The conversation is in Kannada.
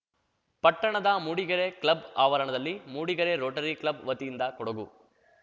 ಪಟ್ಟಣದ ಮೂಡಿಗೆರೆ ಕ್ಲಬ್‌ ಆವರಣದಲ್ಲಿ ಮೂಡಿಗೆರೆ ರೋಟರಿ ಕ್ಲಬ್‌ ವತಿಯಿಂದ ಕೊಡಗು